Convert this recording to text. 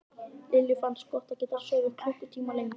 Lillu fannst gott að geta sofið klukkutíma lengur.